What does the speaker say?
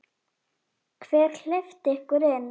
Hver hleypti ykkur inn?